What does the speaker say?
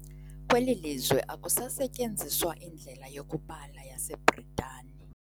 Kweli lizwe akusasetyenziswa indlela yokubala yaseBritani.